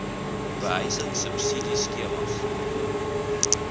behuising subsidie skemas